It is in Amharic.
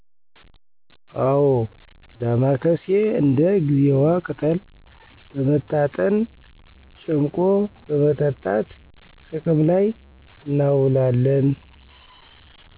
አወ ዳማካሴ እንደ ጊዜዋ ቅጠል በመታጠን ጨምቆ በመጠጣት ጥቅም ላይ እናዉላለን